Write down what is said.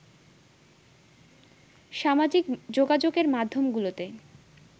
সামাজিক যোগাযোগের মাধ্যমগুলোতে